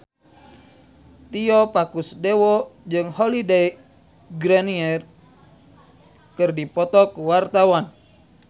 Tio Pakusadewo jeung Holliday Grainger keur dipoto ku wartawan